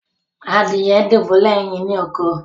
Adìye dubulẹ ẹyìn ni òkó.